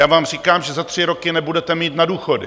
Já vám říkám, že za tři roky nebudete mít na důchody.